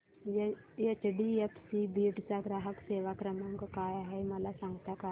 HDFC Beed चा ग्राहक सेवा क्रमांक काय आहे मला सांगता का